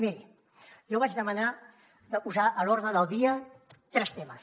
miri jo vaig demanar de posar a l’ordre del dia tres temes